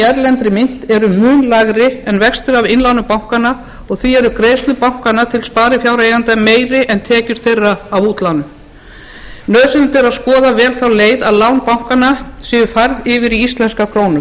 erlendri mynt eru lægri en vextir af innlánum bankanna og því eru greiðslur bankanna til sparifjáreigenda en tekjur þeirra af útlánum nauðsynlegt er að skoða vel þá leið að lán bankanna séu færð yfir í íslenskar krónur